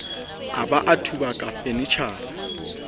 a ba a thubaka fanetjhara